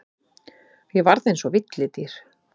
Ég varð eins og villidýr.